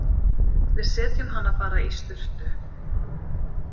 Við setjum hana bara í sturtu.